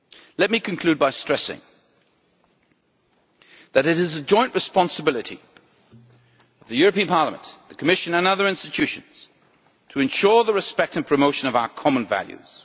Let me conclude by stressing that it is a joint responsibility of the European Parliament, the Commission and other institutions to ensure respect for, and the promotion of, our common values.